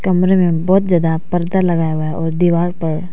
कमरे में बहुत ज्यादा परदा लगाया हुआ है और दीवार पर--